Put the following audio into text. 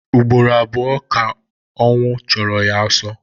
Ụgbọrọ abụọ ka m ka ọwnụ chọrọ ya ọsọ